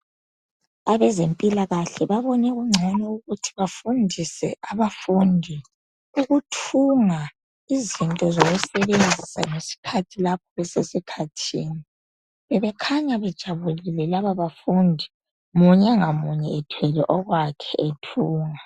Abezempilakahle babone kungcono ukuthi bafundise abafundi ukuthunga izinto zokusebenzisa ngesikhathi lapho besesikhathini. Bebekhanya bejabulile laba bafundi ,munye ngamunye ethwele okwakhe ethunga.